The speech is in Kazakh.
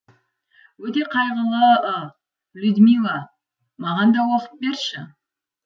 өте қайғылы ы людмила маған да оқып берші